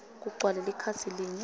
kugcwale likhasi linye